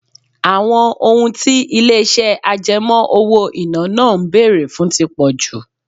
Àwọn ohun tí ilé-ìṣẹ́ àjẹmọ́ owó-ìná náà ń bèrè fún tí pọ̀ jù.